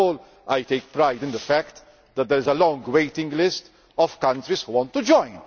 First of all, I take pride in the fact that there is a long waiting list of countries who want to join.